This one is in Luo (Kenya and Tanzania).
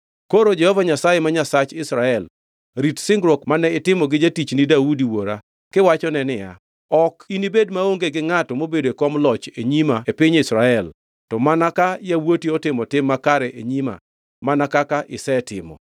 “Koro Jehova Nyasaye, ma Nyasach Israel rit singruok mane itimo gi jatichni Daudi wuora kiwachone niya, ‘Ok inibed maonge gi ngʼato mobedo e kom loch e nyima e piny Israel, to mana ka yawuoti otimo tim makare e nyima mana kaka isetimo.’